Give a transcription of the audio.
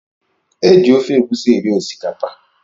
Eji ofe egusi eri osikapa.